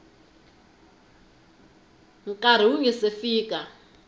nkarhi wu nga si fika